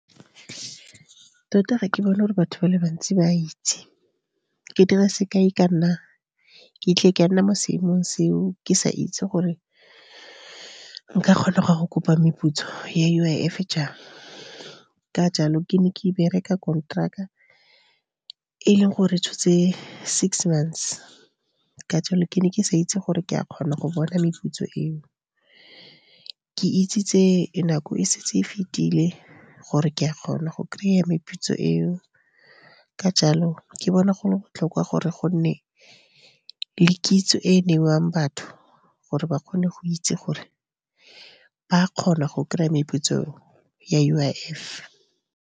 Tota ga ke bone gore batho ba le bantsi ba itse. Ke dire sekai ka nna, ke tle ke a nna mo seemong seo, ke sa itse gore nka kgona go ya go kopa meputso ya U_I_F jang. Ka jalo ke ne ke bereka konteraka e leng gore tshotse six months, ka jalo ke ne ke sa itse gore ke a kgona go bona meputso eo. Ke itsitse nako e setse e fetile gore ke a kgona go kry-a meputso eo, ka jalo ke bona go le botlhokwa gore gonne le kitso e e neiwang batho, gore ba kgone go itse gore ba kgona go kry-a meputso ya U_I_F.